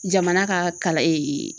Jamana ka kalan ee